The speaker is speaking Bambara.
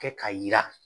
Kɛ ka yira